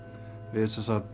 við